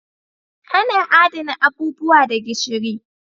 Ana Adana abubuwa da gishiri.